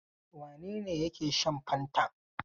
Wane ne yake shan fantan?